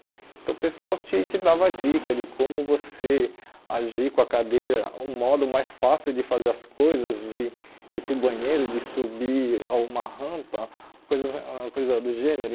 Então o pessoal te te dava dicas de como você agir com a cadeira, um modo mais fácil de fazer as coisas, de ir para o banheiro, de subir a uma rampa, coisas ãh coisas do gênero.